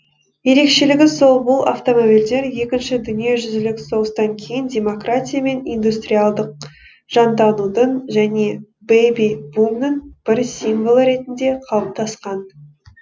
ерекшелігі сол бұл автомобильдер екінші дүниежүзілік соғыстан кейін демократия мен индустриалдық жанданудың және бэби бумның бір символы ретінде қалыптасқан